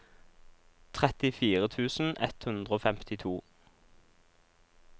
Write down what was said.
trettifire tusen ett hundre og femtito